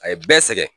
A ye bɛɛ sɛgɛn